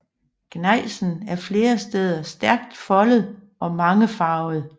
Gnejsen er flere steder stærkt foldet og mangefarvet